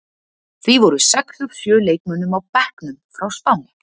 Því voru sex af sjö leikmönnum á bekknum fá Spáni.